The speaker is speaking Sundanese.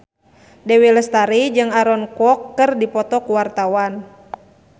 Dewi Lestari jeung Aaron Kwok keur dipoto ku wartawan